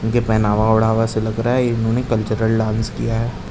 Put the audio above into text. इनके पहनावा ओढावा से लग रहा है इन्होंने कल्चरल डांस किया है।